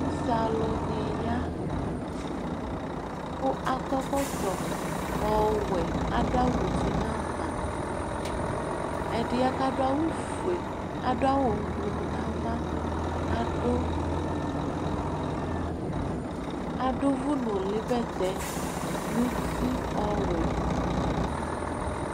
Usealʋnɩ ya kʋ akɔ ɛkɔtɔ ɔwɛ kʋ adʋ awʋ uti nʋ ava Ɛdɩ ya kʋ adʋ awʋfue, adʋ awʋ ʋblʋ nʋ ava kʋ adʋ adʋ ʋvʋnʋlɩbɛtɛ nʋ uti ɔwɛ